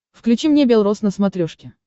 включи мне бел роз на смотрешке